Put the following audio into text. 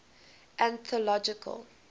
anthological